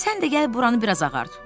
Sən də gəl buranı biraz ağart.